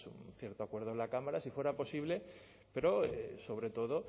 un cierto acuerdo en la cámara si fuera posible pero sobre todo